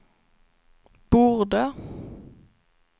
borde